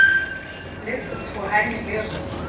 le se tshohane le re